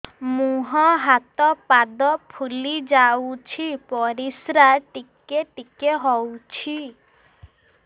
ମୁହଁ ହାତ ପାଦ ଫୁଲି ଯାଉଛି ପରିସ୍ରା ଟିକେ ଟିକେ ହଉଛି